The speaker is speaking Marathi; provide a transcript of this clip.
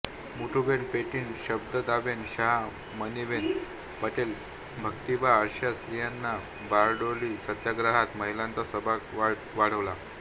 मिठुबेन पेटीट शारदाबेन शाह मणीबेन पटेल भक्तिबा अश्या स्त्रियांनी बारडोली सत्याग्रहात महिलांचा सभाग वाढवला